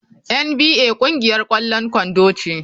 NBA ƙungiyar ƙwallon kwando ce.